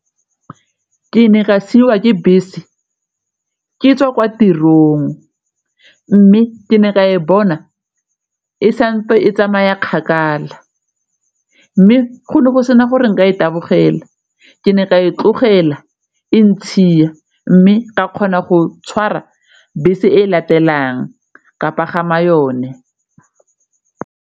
Ke ne ka siiwa ke bese ke tswa kwa tirong mme ke ne ka e bona e santse e tsamaya kgakala mme go ne go sena gore nka e tabogela ke ne ka e tlogela e ntshia mme ka kgona go tshwara bese e latelang ka pagama yone.